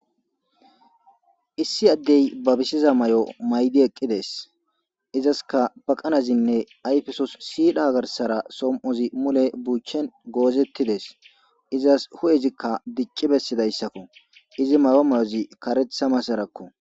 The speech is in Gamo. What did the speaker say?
issi addey babisiza mayo maydi eqqides izaska baqanazinne ayfesos siidha garsara som'ozi mule buuchen goozettides izas hu'ezikka dicci bessidayssakko izi mayo mayozi karetha masarakko